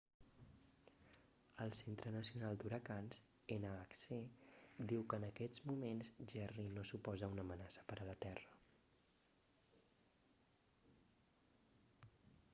el centre nacional d'huracans nhc diu que en aquests moments jerry no suposa una amenaça per a la terra